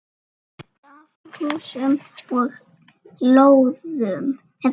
Kort af húsum og lóðum.